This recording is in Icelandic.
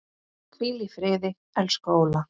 Hvíl í friði, elsku Óla.